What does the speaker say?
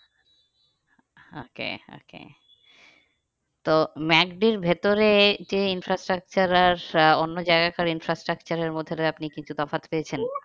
Okay okay তো ম্যাকডির ভেতরে যে instructure আর অন্য জায়গার instructure এর মধ্যে আপনি কিছু তফাৎ পেয়েছেন?